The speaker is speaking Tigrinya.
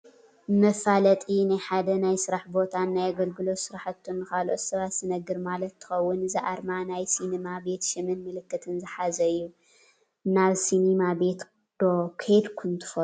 መፋለጢ ናይ ሓደ ናይ ስራሕ ቦታን ናይ ኣገልግሎት ስራሕቱን ንኻልኦት ሰባት ዝነግር ማለት እንትኸውን እዚ ኣርማ ናይ ሲኒማ ቤት ሽምን ምልክትን ዝሓዘ እዩ፡፡ ናብ ሲኒማ ቤት ዶ ከይድኩም ትፈልጡ?